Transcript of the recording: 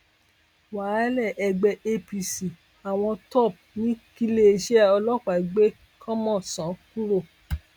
wàhálà ẹgbẹ apc àwọn top ní kíléeṣẹ ọlọpàá gbé kọmọnsàn kúrò